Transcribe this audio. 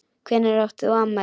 Hvenær átt þú afmæli?